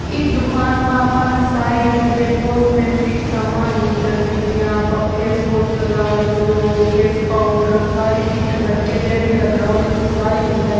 इ दुकान में आपाने सारी चीजा जिया कॉस्टमेटिंग सामान मिल जासी जीया आपा फेस वॉश लगावा जो फेस पाउडर सारी चीजा लडकिया जे भी लगावे नी जो सारी मिल जाय।